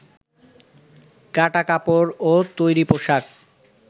কাটা কাপড় ও তৈরি পোশাক